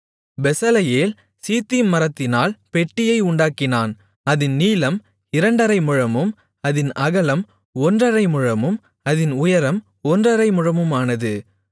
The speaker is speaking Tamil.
பெசலெயேல் சீத்திம் மரத்தினால் பெட்டியை உண்டாக்கினான் அதின் நீளம் இரண்டரை முழமும் அதின் அகலம் ஒன்றரை முழமும் அதின் உயரம் ஒன்றரை முழமுமானது